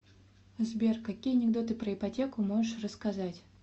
сбер какие анекдоты про ипотеку можешь рассказать